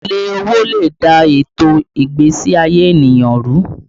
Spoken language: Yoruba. Èlé owó lè dà ètò ìgbésí ayé ènìyàn rú